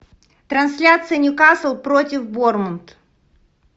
трансляция ньюкасл против борнмут